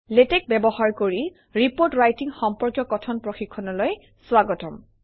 LaTeX ব্যবহাৰ কৰি report writing সম্পৰ্কীয় কথন প্ৰশিক্ষণলৈ স্বাগতম